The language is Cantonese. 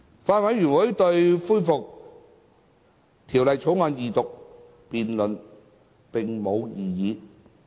法案委員會對恢復《條例草案》二讀辯論並無異議。